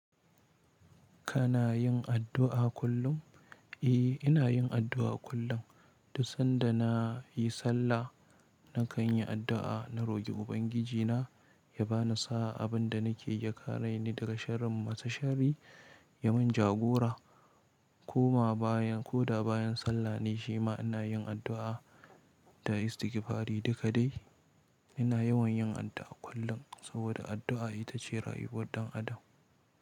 Kana yin addu'a kullum? Eh, ina yin addu'a kullum. Duk sabda nayi sallah nakanyi addua na roƙi ubangiji na ya ba ni sa'a abin da nake ya kare ni daga sharin masu shari, ya mun jagora. Ko ma bayan ko da bayan sallah ne shi ma ina yin addu'a. Da istigfari duka dai ina yawan yin addu'a kullum saboda addu'a ita ce rayuwar ɗan adam.